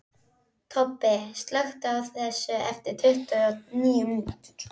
Tobbi, slökktu á þessu eftir tuttugu og níu mínútur.